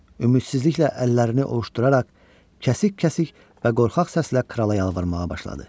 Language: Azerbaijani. Ümidsizliklə əllərini ovuşduraraq kəsik-kəsik və qorxaq səslə krala yalvarmağa başladı.